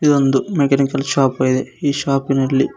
ಇದೊಂದು mechanical shop ಇದೆ ಈ ಶಾಪ್ ನಲ್ಲಿ.